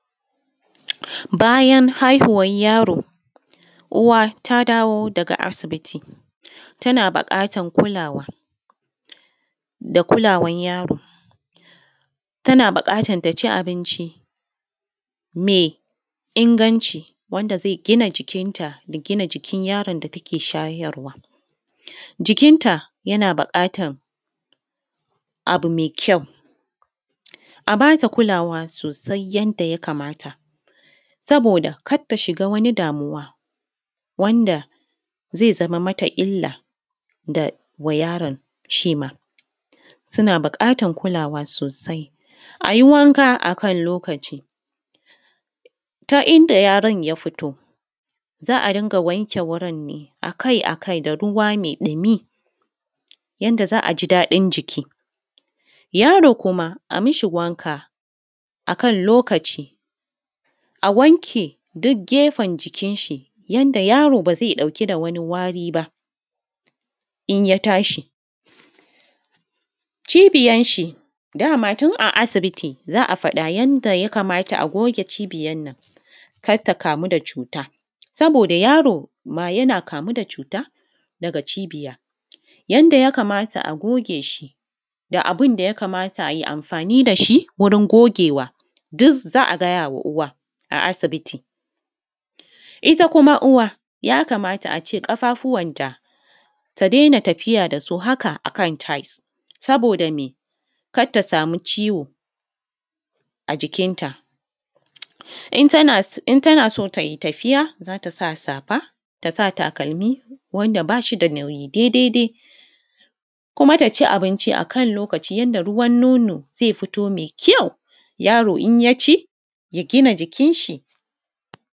Bayan haihuwan yaro, uwa ta dawo daga asibiti, tana buƙatar kulawa da kulawan yaro. Tana buƙatan ta ci abinci mai inganci wanda zai gina jikinta da gina jikin yaron da take shayarwa. Jikinta yana buƙatan, abu mai kyau. A ba ta kulawa sosai yanda ya kamata, saboda kar ta shiga wani damuwa wanda zai zama mata illa da wa yaron shi ma, suna buƙatan kulawa sosai. A yi wanka a kan lokaci. Ta inda yaron ya fito, za a dinga wanke wurin ne a kai-a kai da ruwa mai ɗumi, yanda za a ji daɗin jiki. Yaro kuma a mishi wanka a kan lokaci. A wanke duk gefen jikinshi yanda yaro ba zai ɗauki da wani wari ba, in ya tashi. Cibiyanshi, da ma tun a asibiti za a faɗa yanda ya kamata a goge cibiyan nan, kar ta kamu da cuta. Saboda yaro ma yana kamu da cuta daga cibiya. Yanda ya kamata a goge shi, da abun da ya kamata ai amfani da shi wurin gogewa, duk za a gaya wa uwa a asibiti. Ita kuma uwa, ya kamata a ce ƙafafuwanta ta daina tafiya da su haka a kan tiles,. Saboda me? kar ta samu ciwo a jikinta. In tana so, in tana so ta yi tafiya, za ta sa safa, ta sa takalmi wanda ba shi da nauyi daidai dai. kuma ta ci abinci a kan lokaci yanda ruwan nono zai fito mai kyau. Yaro in ya ci, ya gina jikinshi.